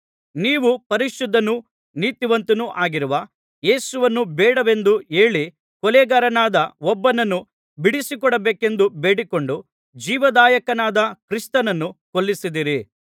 ನೀವು ಪರಿಶುದ್ಧನೂ ನೀತಿವಂತನೂ ಆಗಿರುವ ಯೇಸುವನ್ನು ಬೇಡವೆಂದು ಹೇಳಿ ಕೊಲೆಗಾರನಾದ ಒಬ್ಬನನ್ನು ಬಿಡಿಸಿಕೊಡಬೇಕೆಂದು ಬೇಡಿಕೊಂಡು ಜೀವದಾಯಕನಾದ ಕ್ರಿಸ್ತನನ್ನು ಕೊಲ್ಲಿಸಿದ್ದೀರಿ